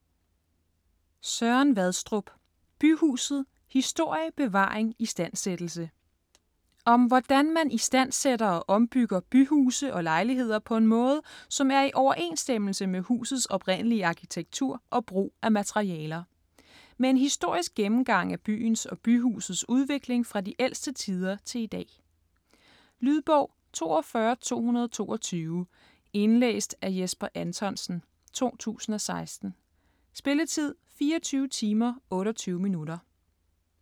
Vadstrup, Søren: Byhuset: historie, bevaring, istandsættelse Om hvordan man istandsætter og ombygger byhuse og lejligheder på en måde, som er i overensstemmelse med husets oprindelige arkitektur og brug af materialer. Med en historisk gennemgang af byens og byhusets udvikling fra de ældste tider til i dag. Lydbog 42222 Indlæst af Jesper Anthonsen, 2016. Spilletid: 24 timer, 28 minutter.